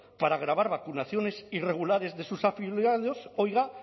para grabar vacunaciones irregulares de sus afiliados oiga